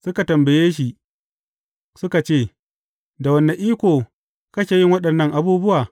Suka tambaye, shi suka ce, Da wane iko kake yin waɗannan abubuwa?